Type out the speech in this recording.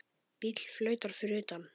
Bíll flautar fyrir utan.